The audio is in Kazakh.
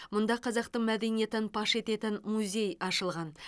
мұнда қазақтың мәдениетін паш ететін музей ашылған